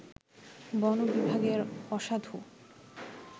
বন বিভাগের অসাধু